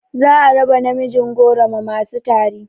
Za a raba namijin goro ma masu tari